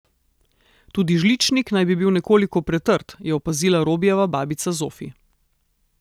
Tudi žličnik naj bi bil nekoliko pretrd, je opazila Robijeva babica Zofi.